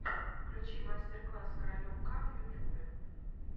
включи мастер класс каролек к в ютубе